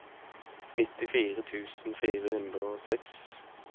nittifire tusen fire hundre og seks